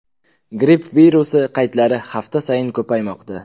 Gripp virusi qaydlari hafta sayin ko‘paymoqda.